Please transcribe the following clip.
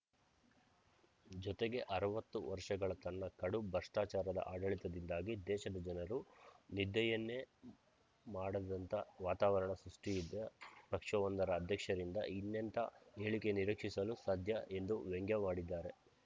ಜೊತೆಗೆ ಅರವತ್ತು ವರ್ಷಗಳ ತನ್ನ ಕಡು ಭ್ರಷ್ಟಾಚಾರದ ಆಡಳಿತದಿಂದಾಗಿ ದೇಶದ ಜನರು ನಿದ್ದೆಯನ್ನೇ ಮಾಡದಂಥ ವಾತಾವರಣ ಸೃಷ್ಟಿಸಿದ್ದ ಪಕ್ಷವೊಂದರ ಅಧ್ಯಕ್ಷರಿಂದ ಇನ್ನೆಂಥ ಹೇಳಿಕೆ ನಿರೀಕ್ಷಿಸಲು ಸಾಧ್ಯ ಎಂದು ವ್ಯಂಗ್ಯವಾಡಿದ್ದಾರೆ